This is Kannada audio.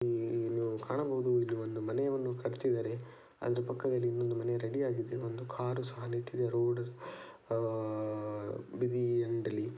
ಇಲ್ಲಿ ಕಾಣಬಹುದು ಇಲ್ಲಿ ಒಂದು ಮನೆಯನ್ನು ಕಟ್ಟುತ್ತಿದ್ದಾರೆ ಅದರ ಪಕ್ಕದಲ್ಲಿ ಇನ್ನೊಂದು ಮನೆ ರೆಡಿಯಾಗಿದೆ. ಇಲ್ಲಿ ಒಂದು ಕಾರು ಸಹಿತ ನಿಂತಿದೆ ರೋಡ್ ಆ ಬದಿ--